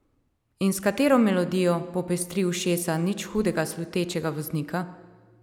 In s katero melodijo popestri ušesa nič hudega slutečega voznika?